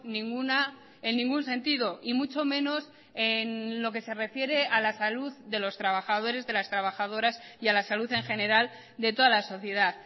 ninguna en ningún sentido y mucho menos en lo que se refiere a la salud de los trabajadores de las trabajadoras y a la salud en general de toda la sociedad